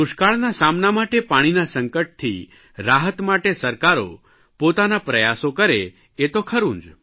દુષ્કાળના સામના માટે પાણીના સંકટથી રાહત માટે સરકારો પોતાના પ્રયાસો કરે એ તો ખરૂં જ